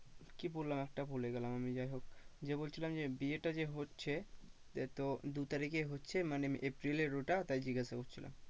কি বললাম একটা ভুলে গেলাম আমি যাই হোক যে বলছিলাম যে বিয়েটা যে হচ্ছে সে তো দু তারিখে হচ্ছে মানে april এর ওটা তাই জিজ্ঞাসা করছিলাম।